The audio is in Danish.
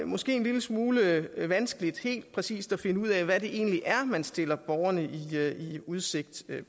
måske en lille smule vanskeligt helt præcis at finde ud af hvad det egentlig er man stiller borgerne i udsigt